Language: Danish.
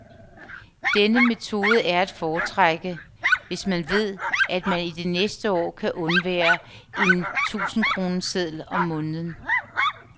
Denne metode er at foretrække, hvis man ved, at man i det næste år kan undvære en tusindkroneseddel om måneden.